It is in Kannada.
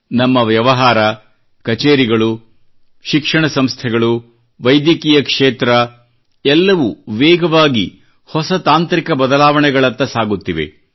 ನಮ್ಮ ವ್ಯವಹಾರ ಕಚೇರಿಗಳು ಶಿಕ್ಷಣ ಸಂಸ್ಥೆಗಳು ವೈದ್ಯಕೀಯ ಕ್ಷೇತ್ರ ಎಲ್ಲವೂ ವೇಗವಾಗಿ ಹೊಸ ತಾಂತ್ರಿಕ ಬದಲಾವಣೆಗಳತ್ತ ಸಾಗುತ್ತಿವೆ